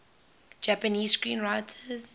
japanese screenwriters